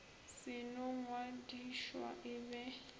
se no ngwadišwa e ba